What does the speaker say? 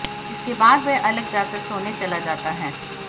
इसके बाद वह अलग जाकर सोने चला जाता है